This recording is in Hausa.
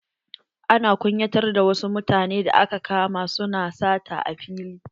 Ana kunyatar da wa su mutanen da aka kama su na sata a fili.